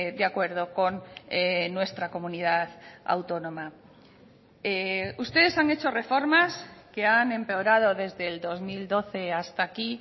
de acuerdo con nuestra comunidad autónoma ustedes han hecho reformas que han empeorado desde el dos mil doce hasta aquí